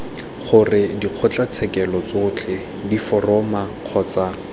gore dikgotlatshekelo tsotlhe diforamo kgotsa